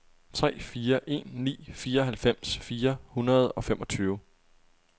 tre fire en ni fireoghalvfems fire hundrede og femogtyve